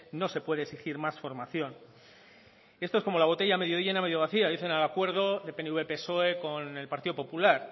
no se puede exigir más formación esto es como la botella medio llena medio vacía dicen al acuerdo de pnv psoe con el partido popular